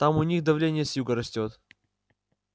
там у них давление с юга растёт